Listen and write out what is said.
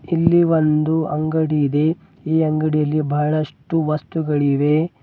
ಇಲ್ಲಿ ಒಂದು ಅಂಗಡಿ ಇದೆ ಈ ಅಂಗಡಿಯಲ್ಲಿ ಬಹಳಷ್ಟು ವಸ್ತುಗಳಿವೆ.